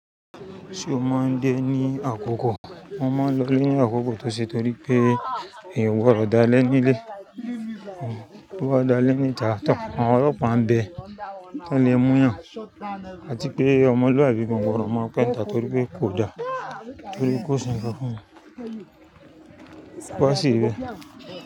Ṣé o máa ń dẹ ní àkókò? Wọ́n máa ń lọ ilé àkókò tọ̀ṣẹ̀ tọ́rí pé èèwọ̀ ọ̀dà lẹ́ nílé. Ó dáa lẹ́ níta tán, àwọn ọlọ́pàá ń bẹ, to lè múyàn, àti pé ọmọlúàbí gan gbodo ọ̀ máa ń pẹ́ńta torí pé kò dáa torí kó ṣe nǹkan fún un. Kó ṣì rí bẹ́.